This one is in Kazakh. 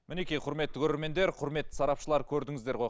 мінекей құрметті көреремендер құрметті сарапшылар көрдіңіздер ғой